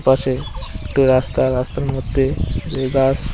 পাশে একটি রাস্তা রাস্তার মধ্যে এই গাছ।